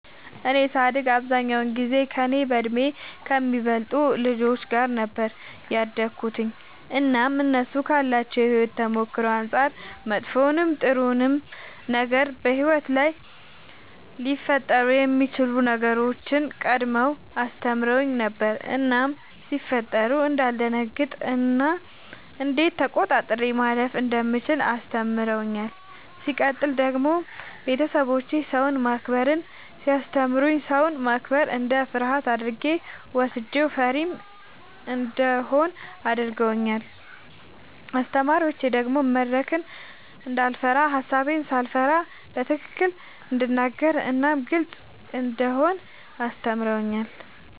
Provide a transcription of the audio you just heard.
እኔ ሳድግ አብዛኛውን ጊዜ ከእኔ በእድሜ ከሚበልጡ ልጆች ጋር ነበር ያደግሁትኝ እናም እነሱ ካላቸው የሕይወት ተሞክሮ አንጻር መጥፎውንም ጥሩውንም ነገር በሕይወት ላይ ሊፈጠሩ የሚችሉ ነገሮችን ቀድመው አስተምረውኝ ነበር እናም ሲፈጠሩ እንዳልደነግጥ እና እንዴት ተቆጣጥሬ ማለፍ እንደምችል አስተምረውኛል። ሲቀጥል ደግሞ ቤተሰቦቼ ሰውን ማክበርን ሲያስተምሩኝ ሰውን ማክበር እንደ ፍርሃት አድርጌ ወስጄው ፈሪም እንደሆን አድርገውኛል። አስተማሪዎቼ ደግሞ መድረክን እንዳይፈራ ሐሳቤን ሳልፈራ በትክክል እንድናገር እናም ግልጽ እንደሆን አስተምረውኛል።